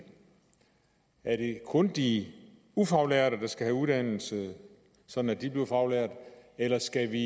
kun de ufaglærte der skal have uddannelse sådan at de bliver faglærte eller skal vi